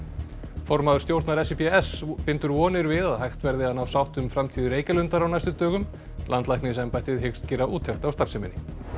formaður stjórnar bindur vonir við að hægt verði að ná sátt um framtíð Reykjalundar á næstu dögum landlæknisembættið hyggst gera úttekt á starfseminni